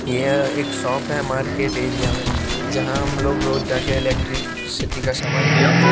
यह एक शॉप है मार्केट एरिया में जहां हम लोग रोज जा की इलेक्ट्रिकसिटी का सामन खरीदते है।